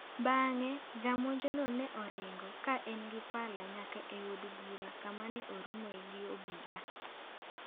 Bang'e, jamonjno ne oringo, ka en gi pala, nyaka e od bura kama ne oromoe gi obila.